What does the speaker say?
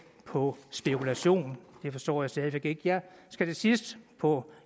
på spekulation det forstår jeg stadig væk ikke jeg skal til sidst på